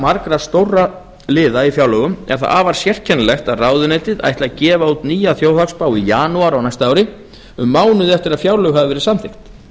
margra stórra liða í fjárlögum er það afar sérkennilegt að ráðuneytið ætli að gefa út nýja þjóðhagsspá í janúar á næsta ári um mánuði eftir að fjárlög hafa verið samþykkt